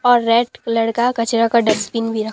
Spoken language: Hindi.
और रेड कलर का कचरे का डस्टबिन भी र--